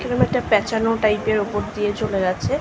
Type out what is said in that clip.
এরম একটা প্যাঁচানো টাইপ -এর ওপর দিয়ে চলে গেছে।